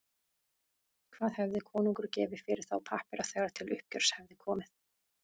Hvað hefði konungur gefið fyrir þá pappíra þegar til uppgjörs hefði komið?